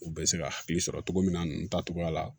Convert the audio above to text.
U bɛ se ka hakili sɔrɔ cogo min na ninnu ta cogoya la